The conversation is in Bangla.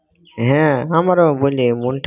হ্যাঁ আমার ও বুঝলি মন~